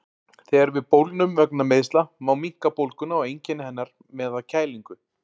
Þegar við bólgnum vegna meiðsla má minnka bólguna og einkenni hennar með að kælingu.